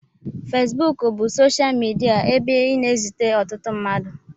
Fesbuku bụ ụdị soshal midia ebe ị na-ezute ọtụtụ mmadụ.